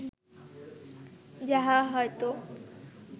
যাহা হয়তো